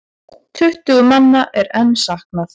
Tuttugu manna er enn saknað.